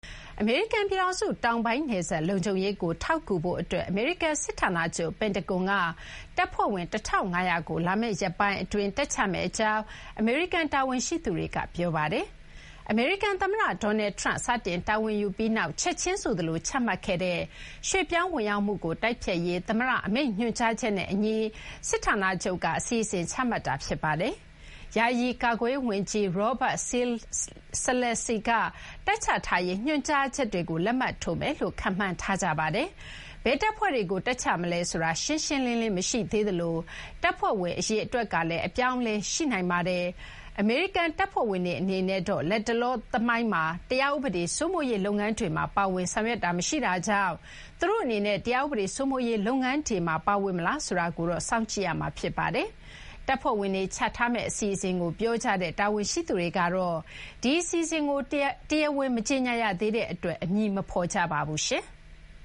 အမေရိကန် ပြည်ထောင်စု တောင်ပိုင်း နယ်စပ် လုံခြုံရေးကို ထောက်ကူဖို့ အတွက် အမေရိကန် စစ်ဌာနချုပ် ပန်တဂွန်က တပ်ဖွဲ့ဝင် ၁,၅၀၀ ကို လာမယ့် ရက်ပိုင်း အတွင်း တပ်ချမယ့် အကြောင်း အမေရိကန် တာဝန်ရှိသူတွေက ပြောပါတယ်။ အမေရိကန် သမ္မတ Donald Trump စတင် တာဝန်ယူပြီးနောက် ချက်ချင်းဆိုသလို ချမှတ်ခဲ့တဲ့ ရွှေ့ပြောင်းဝင်ရောက်မှုကို တိုက်ဖျက်ရေး သမ္မတ အမိန့်ညွှန်ကြားချက်နဲ့ အညီ စစ်ဌာနချုပ်က အစီအစဉ် ချမှတ်ထားတာ ဖြစ်ပါတယ်။ ယာယီ ကာကွယ်ရေး ဝန်ကြီး Robert Salesses က တပ်ချထားရေး ညွှန်ကြားချက်တွေကို လက်မှတ်ထိုးမယ်လို့ ခန့်မှန်းထားကြပါတယ်။ ဘယ်တပ်ဖွဲ့တွေကို တပ်ချမလဲ ဆိုတာ ရှင်းရှင်းလင်းလင်း မရှိသေးသလို တပ်ဖွဲ့ဝင် အရေအတွက်ကလည်း အပြောင်းအလဲ ရှိနိုင်ပါတယ်။ အမေရိကန် တပ်ဖွဲ့ဝင်တွေ အနေနဲ့တော့ လတ်တလော သမိုင်းမှာ တရားဥပဒေ စိုးမိုးရေး လုပ်ငန်းတွေမှာ ပါဝင် ဆောင်ရွက်တာ မရှိတာကြောင့် သူတို့အနေနဲ့ တရားဥပဒေ စိုးမိုးရေး လုပ်ငန်းတွေမှာ ပါဝင်မလားဆိုတာကိုတော့ စောင့်ကြည့်ရမှာ ဖြစ်ပါတယ်။ တပ်ဖွဲ့ဝင်တွေ ချထားမယ့် အစီအစဉ်ကို ပြောကြတဲ့ တာဝန်ရှိသူတွေကတော့ ဒီအစီအစဉ်ကို တရားဝင် မကြေညာရသေးတဲ့ အတွက် အမည်မဖော်ကြပါဘူး။